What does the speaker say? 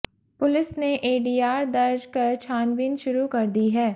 police ने ADR दर्ज कर छानबीन शुरू कर दी है